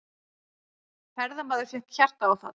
Ferðamaður fékk hjartaáfall